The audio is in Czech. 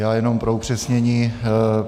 Já jenom pro upřesnění.